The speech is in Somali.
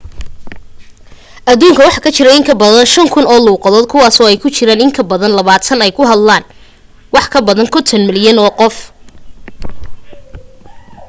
aduunka waxa ka jira in ka badan 5,000 oo luuqadood kuwaasoo ay ku jiraan in ka badan labaatan ay ku hadlaan wax ka badan 50 malyan oo qof